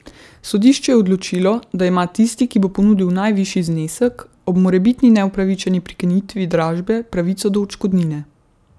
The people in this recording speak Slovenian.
Sodišče je odločilo, da ima tisti, ki bo ponudil najvišji znesek, ob morebitni neupravičeni prekinitvi dražbe pravico do odškodnine.